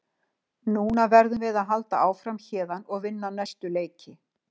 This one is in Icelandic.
Núna verðum við að halda áfram héðan og vinna næstu leiki.